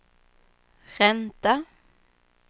ränta